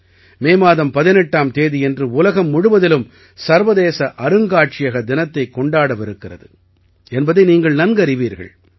மே மாதம் 18ஆம் தேதியன்று உலகம் முழுவதிலும் சர்வதேச அருங்காட்சியக தினத்தைக் கொண்டாடவிருக்கிறது என்பதை நீங்கள் நன்கறிவீர்கள்